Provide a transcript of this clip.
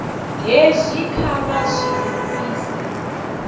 hezwi kha vha zwi livhise